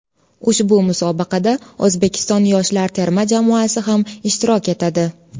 Ushbu musobaqada O‘zbekiston yoshlar terma jamoasi ham ishtirok etadi.